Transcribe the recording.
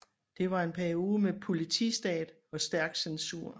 Det var en periode med politistat og stærk censur